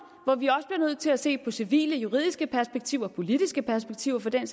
hvor vi også bliver nødt til at se på civile juridiske perspektiver og politiske perspektiver for den